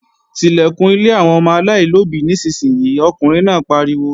Tilẹ̀kùn ilé àwọn ọmọ aláìlóbí nísinsìnyí, ọkùnrin náà pariwo!